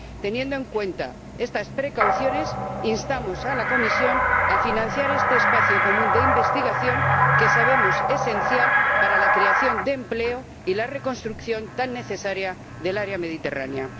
Teniendo en cuenta estas precauciones, instamos a la Comisión a financiar este espacio común de investigación que sabemos esencial para la creación de empleo y la reconstrucción tan necesaria del área mediterránea.